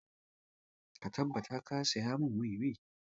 Ka tabbata ka saya mun wiwi!